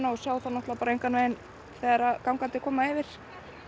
og sjá þá engan veginn þegar gangandi koma yfir